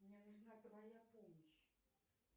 мне нужна твоя помощь